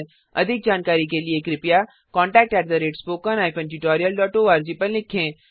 अधिक जानकारी के लिए कृपया contactspoken tutorialorg पर लिखें